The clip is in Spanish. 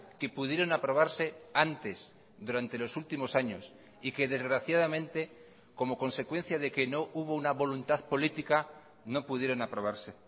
que pudieron aprobarse antes durante los últimos años y que desgraciadamente como consecuencia de que no hubo una voluntad política no pudieron aprobarse